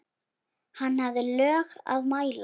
Hann hafði lög að mæla.